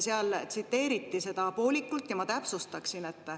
Seal tsiteeriti seda poolikult ja ma täpsustaksin.